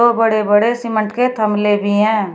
बड़े बड़े सीमेंट के थमले भी हैं।